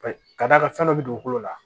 Ka d'a kan fɛn dɔ bɛ dugukolo la